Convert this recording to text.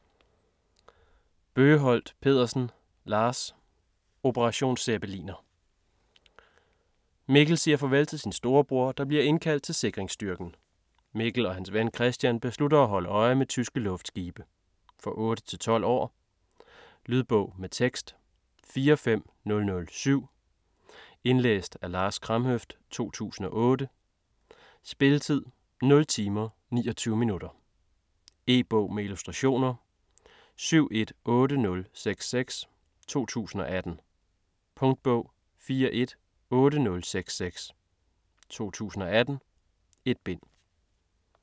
Bøgeholt Pedersen, Lars: Operation zeppeliner Mikkel siger farvel til sin storebror, der bliver indkaldt til sikringsstyrken. Mikkel og hans ven Kristian beslutter at holde øje med tyske luftskibe. For 8-12 år. Lydbog med tekst 45007 Indlæst af Lars Kramhøft, 2008. Spilletid: 0 timer, 29 minutter. E-bog med illustrationer 718066 2018. Punktbog 418066 2018. 1 bind.